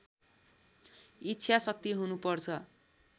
इच्छा शक्ति हुनुपर्छ